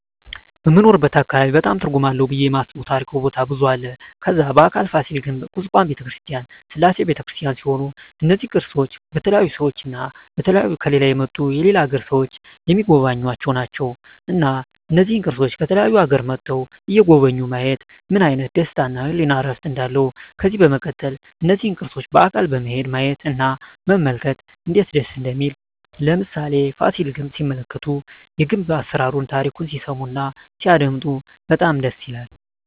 በምንኖርበት አካባቢ በጣም ትርጉም አለው ብየ የማስበው ታሪካዊ ቦታ ብዙ አለ ከዛ በአካል ፋሲል ግንብ ኩስካም በተክርስቲያን ስላሴ በተክርስቲያን ሲሆኑ እነዚ ቅርሶች በተለያዩ ሰዎች እና በተለያዩ ከሌላ የመጡ የሌላ አገር ሰዎች ሚጎበኙአቸው ናቸው እና እነዚህን ቅርሶች ከተለያዩ አገሮች መጥተዉ የጎበኙ ማየት ምን አይነት ደስታ እና የህሊና እርፍ እንዳለው ከዚህ በመቀጠል እነዚህን ቅርሶች በአካል በመሄድ ማየት እና መመልከት እነዴት ደስ እንደሚል ለምሳሌ ፋሲል ግንብ ሲመለከቱ የግንብ አሰራሩን ታሪኩን ሲሰሙ እና ሲያደመጡ በጣም ደስ ይላል